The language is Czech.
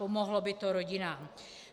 Pomohlo by to rodinám.